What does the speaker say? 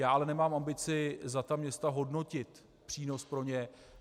Já ale nemám ambici za ta města hodnotit přínos pro ně.